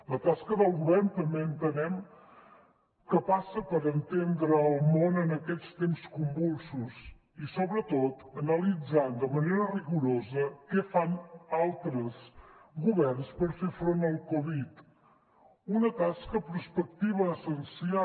la tasca del govern també entenem que passa per entendre el món en aquests temps convulsos i sobretot analitzant de manera rigorosa què fan altres governs per fer front al covid una tasca prospectiva essencial